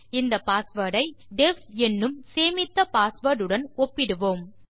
இந்த பாஸ்வேர்ட் ஐ டெஃப் என்னும் சேமித்த பாஸ்வேர்ட் உடன் ஒப்பிடுவோம்